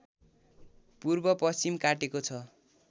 पूर्वपश्चिम काटेको छ